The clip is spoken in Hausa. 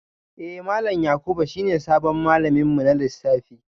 Eh malam Yakubu shine sabon malamin mu na lissafi